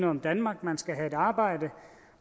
om danmark man skal have et arbejde